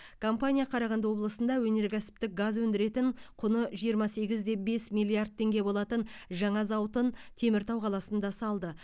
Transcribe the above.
компания қарағанды облысында өнеркәсіптік газ өндіретін құны жиырма сегіз де бес миллиард теңге болатын жаңа зауытын теміртау қаласында салды